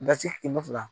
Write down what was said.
Dasi kɛmɛ fila